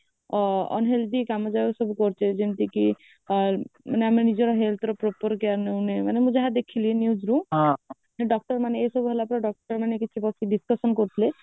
ଆ unhealthy କାମ ଯାହା ସବୁ କରୁଚେ ଯେମିତି କି ଆ ମାନେ ଆମେ ନିଜ health ର proper care ନେଉନେ ମାନେ ମୁଁ ଯାହା ଦେଖିଲି news ରୁ ହଁ doctor ମାନେ ଏସବୁ ହେଲାପରେ doctor କିଛି ବସି decussation କରୁଥିଲେ